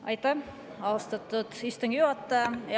Aitäh, austatud istungi juhataja!